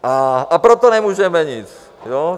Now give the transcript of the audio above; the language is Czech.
A proto nemůžeme nic.